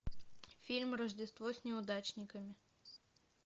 фильм рождество с неудачниками